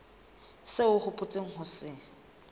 seo o hopotseng ho se